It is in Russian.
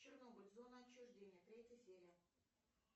чернобыль зона отчуждения третья серия